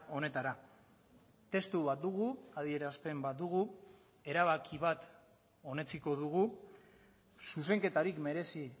honetara testu bat dugu adierazpen bat dugu erabaki bat onetsiko dugu zuzenketarik merezi